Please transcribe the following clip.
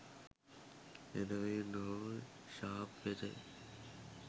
එබැවින් ඔහු ශාප් වෙත